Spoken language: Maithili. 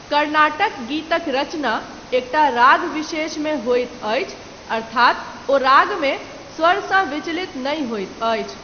कर्नाटक गीतक रचना, एकटा राग विशेषमे होइत अछि, अर्थात् ओ रागमे, स्वरसँ विचलित नहि होइत अछि।